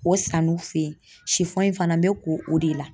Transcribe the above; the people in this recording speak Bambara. O san'u fen yen fana n be ko o de la.